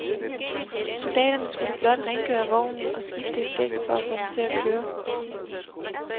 Soldaterne skulle blot rengøre vognen og skifte et dæk for at få den til at køre.